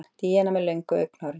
Díana með löngu augnahárin.